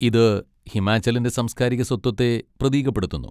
ഇത് ഹിമാചലിന്റെ സാംസ്കാരിക സ്വത്വത്തെ പ്രതീകപ്പെടുത്തുന്നു.